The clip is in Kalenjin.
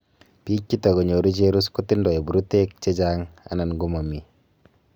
pig chegotugonyoru cherus kotindoi puruteg chechang ana komamii